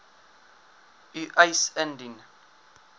u eis indien